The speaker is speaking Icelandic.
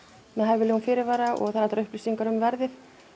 með hæfilegum fyrirvara og það eru upplýsingar um verðið